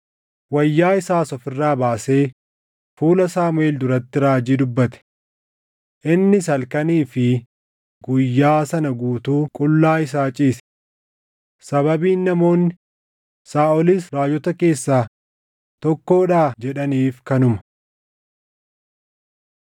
Wayyaa isaas of irraa baasee fuula Saamuʼeel duratti raajii dubbate. Innis halkanii fi guyyaa sana guutuu qullaa isaa ciise. Sababiin namoonni, “Saaʼolis raajota keessaa tokkoodhaa?” jedhaniif kanuma.